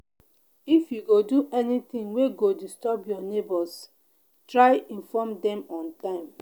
if you go do anything wey go disturb your neighbors try inform dem on time